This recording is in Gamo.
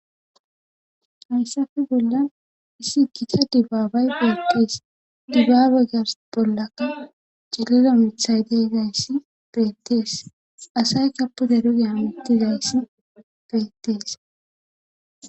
Hayssafe bolla issi kicta dibbaabay beettees dibbaabe gars bollaka celeda miithay deyzayssi beettees asay kapude dugeya miittizayssi beettees.